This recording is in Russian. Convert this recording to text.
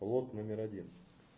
лот номер один